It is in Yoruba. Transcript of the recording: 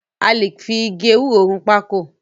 A lè fi igi ewúro run pákò.